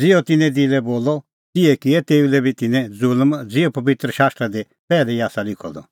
ज़िहअ तिन्नें दिलै बोलअ तिहै किऐ तिन्नैं तेऊ लै दी ज़ुल्म ज़िहअ पबित्र शास्त्रा दी पैहलै ई आसा लिखअ द